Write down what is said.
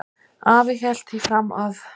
Afi hélt því fram að